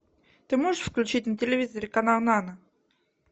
ты можешь включить на телевизоре канал нано